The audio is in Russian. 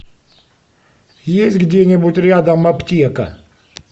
есть где нибудь рядом аптека